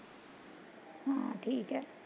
ਹਾਂ ਠੀਕ ਐ